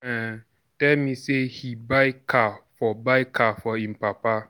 um tell me say he buy car for buy car for im papa.